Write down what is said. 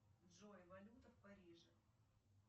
джой валюта в париже